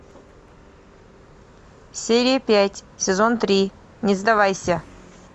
серия пять сезон три не сдавайся